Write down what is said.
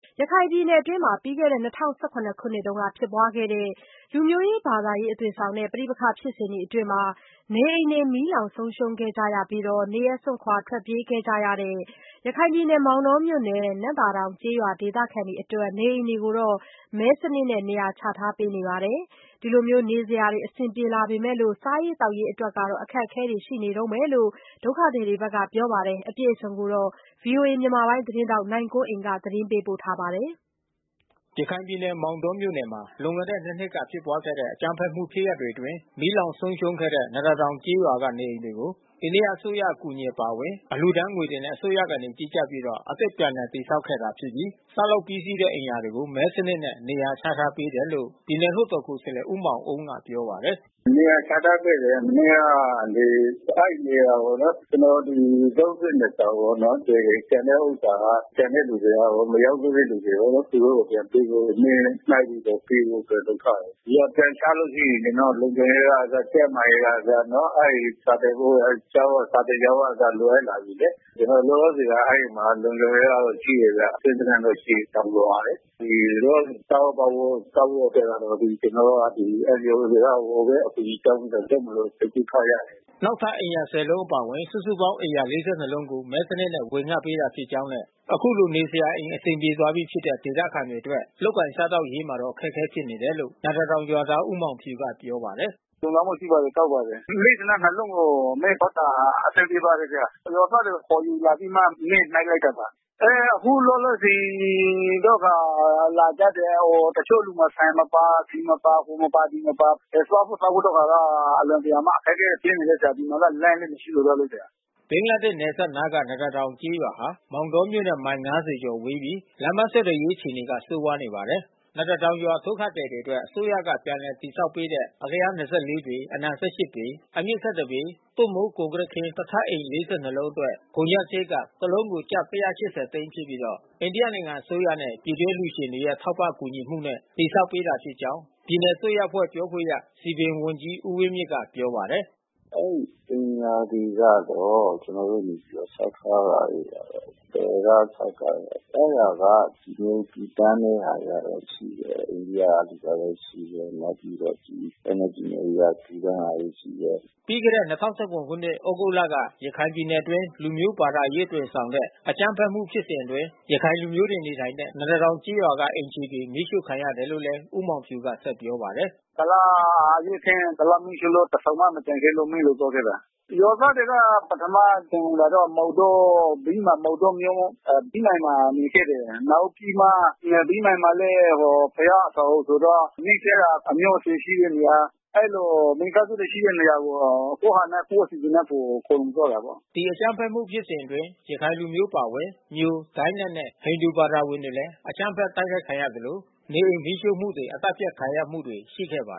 ရခိုင်ပြည်နယ်အတွင်း ၂၀၁၇ ခုနှစ်က ဖြစ်ပွားခဲ့တဲ့ လူမျိုး ဘာသာရေးအသွင်ဆောင်တဲ့ ပဋိပက္ခဖြစ်စဉ်အတွင်း နေအိမ်တွေ မီးလောင်ဆုံးရှုံးခဲ့ကြရပြီး နေရပ်စွန့်ခွာ ထွက်ပြေးကြရတဲ့ မောင်တောမြို့ နယ် နံ့သာတောင်ကျေးရွာဒေသခံတွေ အတွက် နေအိမ်တွေကို မဲစနစ်နဲ့နေရာချ ထားပေးခဲ့ပါတယ်။ အခုလို နေစရာ အဆင်ပြေလာပေမယ့် စားရေးသောက်ရေးက အခက်အခဲတွေ ရှိနေတယ်လို့ ဒုက္ခသည်တွေ က ပြောပါတယ်။ ဗွီအိုအေမြန်မာပိုင်း သတင်းထောက်နိုင်ကွန်းအိန်ကနေ သတင်းပေးပို့ထားပါတယ်။ ရခိုင်ပြည်နယ်၊ မောင်တောမြို့နယ်မှာ လွန်ခဲ့တဲ့ ၂ နှစ်က ဖြစ်ပွားခဲ့တဲ့ အကြမ်းဖက်ဖြစ်ရပ်တွေ အတွင်း မီးလောင်ဆုံးရှုံးခဲ့တဲ့ နံ့သာတောင်ကျေးရွာက နေအိမ်တွေကို အိန္ဒိယအစိုးရ အကူအညီ အပါအဝင် လှူဒါန်းငွေတွေနဲ့ အစိုးရက ကြီးကြပ်ပြီး အသစ်ပြန်လည် တည်ဆောက်ခဲ့တာ ဖြစ်ပြီး ဆောက်လုပ်ပြီးစီးတဲ့ အိမ်ယာတွေကို မဲစနစ်နဲ့ နေရာချထား ပေးနေတယ်လို့ ပြည်နယ် လွှတ်တော်ကိုယ်စားလှယ် ဦးမောင်အုန်းကပြောပါတယ်။ “နေရာချထားခဲ့တယ်။ မနေ့က အဲဒီနေရာပေါ့နော်။ ကျနော်တို့ ဒီ ၃၂ ဆောင်ပေါ့နော် ပေးတယ်။ ကျန်တဲ့ဥစ္စာက ကျန်တဲ့သူတွေ မရောက်တဲ့သူတွေပေါ့ သူတို့ကိုပြန်ပေးဖို့ မဲနှိုက်ပြီးတော့ပေးဖို့လုပ်ထားတယ်။ နေရာပြန်ချလို့ ရှိရင် ကျနော်တို့လုံခြုံရေးကအစ ကျန်းမာရေးကအစ အဲဒီစာသင်ဖို့ စာသင်ကျောင်းကအစ လိုအပ်လာပြီးလေ။ လောလော ဆယ်က အဲဒီမှာလုံခြုံရေးက ရှိတယ်ဗျ။ ကင်းစခန်းတော့ ရှိတယ်ဗျ တောင်ပြိုမှာလေ။ ဒီလောလောဆယ်စားဖို့သောက်ဖို့ အတွက်ကတော့ ကျနော်တို့ကဒီ NGOတွေက ဟိုဘက် အကူညီတောင်းပြီးတော့ လုပ်မယ်လို့ စိတ်ကူးထားကြတယ်။” နောက်ထပ် အိမ်ယာ ဆယ်လုံးအပါအဝင် စုစုပေါင်း အိမ်ယာ ၄၂ လုံးကို မဲစနစ်နဲ့ ဝေငှပေးတာ ဖြစ်ကြောင်းနဲ့ အခုလို နေစရာအိမ် အဆင်ပြေ သွားပြီဖြစ်တဲ့ ဒေသခံတွေအတွက် လုပ်ကိုင်စားသောက်ရေးမှာတော့ ခက်ခဲနေတယ်လို့ နံ့သာတောင် ရွာသား ဦးမောင်ဖြူ ကပြောပါတယ်။ “၄၂ လုံးကို မဲဖောက်တာ အဆင်ပြေပါတယ်။ ရွာသားတွေခေါ်ယူလာပြီးမှ မဲနှိုက်လိုက်တာပါ။ အခုလောလောဆယ်တော့ လာကြတဲ့ တချို့လူတွေက ဆန်မပါ ဆီမပါ ဟိုမပါ ဒီမပါ စားဖို့ သောက်ဖို့ဟာက အလွန်တရာမှ အခက်ခဲဖြစ်နေတယ်။ ဒီမှာက လမ်းလဲမရှိနေတော့လေ။” ဘင်္ဂလားဒေ့ရှ်နယ်စပ်နားက နံ့သာတောင်ကျေးရွာဟာ မောင်တောမြို့နဲ့ မိုင် ၅၀ ကျာ်ဝေးပြီး လမ်းပမ်းဆက်သွယ်ရေး အခြေနေက ဆိုးပါတယ်။ နံ့သာတောင်ရွာ ဒုက္ခသည် တွေအတွက် အစိုးရက ပြန်လည် ဆောက်လုပ်ပေးခဲ့တဲ့ အလျား ၂၄ ပေ၊ အနံ ၁၈ ပေ၊ အမြင့် ၁၁ပေ၊ သွပ်မိုးကွန်ကရစ်ခင်း၊ တစ်ထပ်အိမ် ၄၂ လုံးအတွက် ကုန်ကျစားရိတ်က တလုံးကို ကျပ် ၁၈၀ သိန်း ဖြစ်ပြီး အိန္ဒိယနိုင်ငံအစိုးရနဲ့ ပြည်တွင်းအလှူရှင်တွေရဲ့ ထောက်ပံ့ကူညီမှုနဲ့ တည်ဆောက်ပေးခဲ့တာ ဖြစ်ကြောင်း ပြည်နယ်အစိုးရအဖွဲ့ ပြောခွင့်ရ စည်ပင်ဝန်ကြီးဦးဝင်းမြင့်က ပြောပါတယ်။ “အဲဒီအိမ်ယာတွေကတော့ ကျနော်တို့နေပြီးတော့ ဆောက်ထားပါတယ်ဗျ။ ဘယ်က ဆောက်တာလဲ အဲတာက ပြည်သူ တွေလှူဒါန်းတဲ့ဟာလည်း ရှိတယ်။ အိန္ဒိယက လှူတာလည်း ရှိတယ်။ နောက်ပြီးတော့ NLD အစိုးရ လှူဒါန်းတာလည်း ရှိတယ်။” ပြီးခဲ့တဲ့ ၂၀၁၇ ခုနှစ် သြဂုတ်လက ရခိုင်ပြည်နယ်အတွင်း လူမျိုးဘာသာရေး အသွင်ဆောင်တဲ့ အကြမ်းဖက်မှု ဖြစ်စဉ် အတွင်း ရခိုင်လူမျိုးတွေ နေထိုင်တဲ့ နံ့သာတောင်ကျေးရွာက အိမ်ခြေတွေ မီးရှို့ခံရတယ်လို့လည်း ဦးမောင်ဖြူက ပြောပါတယ်။ “ကုလားအရေးအခင်း ကုလားမီးရှို့လို့ တဆောင်မှမကျန်မီးလောင်သွားခဲ့တာပါ။ ရွာသားတွေက ပထမရှောင်တာက မောင်တော ဗိဗ္မာန် မောင်တောမြို့ ဗိဗ္မာန်မှာ နေခဲ့တယ်။ နောက်ပြီးမှ ဗိဗ္မာန်မှာလည်း ဘုရားအဆောင်ဆိုတော့ နီးစပ်ရာ အမျိုးအဆွေရှိတဲ့နေရာ အဲဒီလို မိသားစုတွေရှိတဲ့နေရာကို ကိုယ့်ဟာနဲ့ကိုယ့်အစီစဉ်နဲ့ ကိုယ်ခေါ်ယူသွားတာပေါ့။” ဒီ အကြမ်းဖက်မှု ဖြစ်စဉ်အတွင်း ရခိုင်လူမျိုးအပါဝင် မြို ဒိုင်းနက်နဲ့ ဟိန္ဒူ ဘာသာဝင်တွေလဲ အကြမ်းဖက် တိုက်ခိုက်ခံရသလို နေအိမ်မီးရှို့မှုတွေ အသတ်ဖြတ် ခံရမှုတွေ ရှိခဲ့တာပါ